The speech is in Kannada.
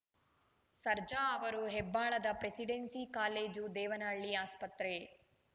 ಸರ್ಜಾ ಅವರು ಹೆಬ್ಬಾಳದ ಪ್ರೆಸಿಡೆನ್ಸಿ ಕಾಲೇಜು ದೇವನಹಳ್ಳಿ ಆಸ್ಪತ್ರೆ